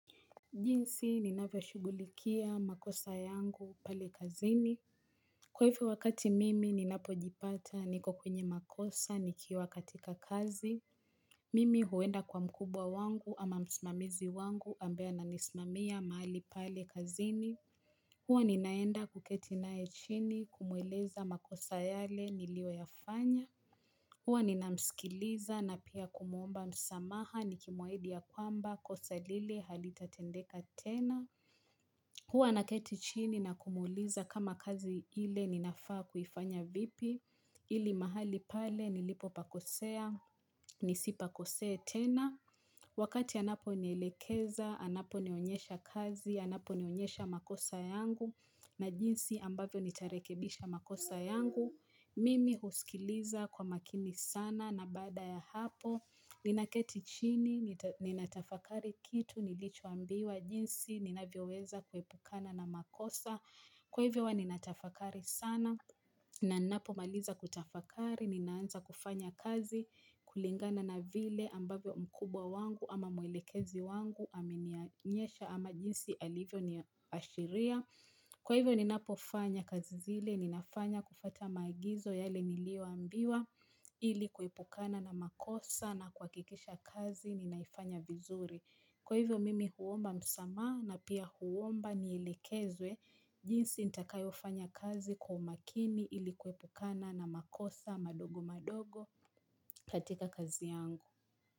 Jinsi ninavyoshugulikia makosa yangu pale kazini. Kwa hivyo wakati mimi ninapojipata niko kwenye makosa nikiwa katika kazi. Mimi huenda kwa mkubwa wangu ama msmamizi wangu ambaye ananismamia mahali pale kazini. Huwa ninaenda kuketi naye chini kumweleza makosa yale niliyoyafanya. Huwa ninamsikiliza na pia kumuomba msamaha nikimwahidi ya kwamba kosa lile halitatendeka tena. Huwa naketi chini na kumuuliza kama kazi ile ninafaa kufanya vipi ili mahali pale nilipopakosea nisipakosee tena. Wakati anaponiilekeza anaponionyesha kazi anaponionyesha makosa yangu na jinsi ambavyo nitarekebisha makosa yangu. Mimi uskiliza kwa makini sana na baada ya hapo Ninaketi chini, ninatafakari kitu, nilicho ambiwa jinsi, ninavyoweza kuepukana na makosa Kwa hivyo huwa ninatafakari sana, na ninapomaliza kutafakari, ninaanza kufanya kazi kulingana na vile ambavyo mkubwa wangu ama mwelekezi wangu aminianyesha ama jinsi alivyo niashiria Kwa hivyo ninapofanya kazi zile, ninafanya kufuata maagizo yale nilioambiwa ili kuepukana na makosa na kuhakikisha kazi ninaifanya vizuri. Kwa hivyo mimi huomba msamaha na pia huomba niilekezwe jinsi nitakayo fanya kazi kwa makini ili kuepukana na makosa madogo madogo katika kazi yangu.